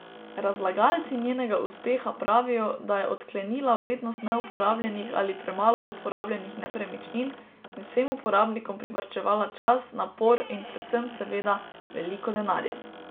Razlagalci njenega uspeha pravijo, da je odklenila vrednost neuporabljenih ali premalo uporabljenih nepremičnin in vsem uporabnikom privarčevala čas, napor in predvsem, seveda, veliko denarja.